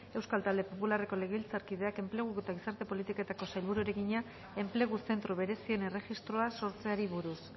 euskal talde popularreko legebiltzarkideak enpleguko eta gizarte politiketako sailburuari egina enplegu zentru berezien erregistroa sortzeari buruz